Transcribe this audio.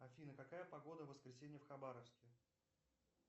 афина какая погода в воскресенье в хабаровске